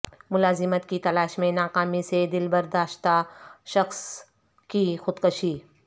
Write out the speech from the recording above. ملازمت کی تلاش میں ناکامی سے دلبرداشتہ شخص کی خودکشی